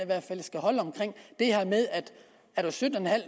hvert fald skal holde omkring det her med at er du sytten en halv